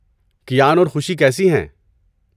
کیان اور خوشی کیسی ہیں؟